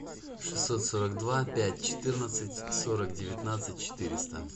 шестьсот сорок два пять четырнадцать сорок девятнадцать четыреста